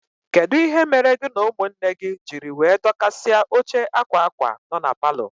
Kedụ ihe mere gị na ụmụnne gị jírí wee dokasia óche akwa akwa nọ n'paló?